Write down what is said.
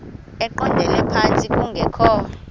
eqondele phantsi kungekho